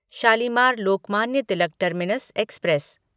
Shalimar Lokmanya Tilak terminus express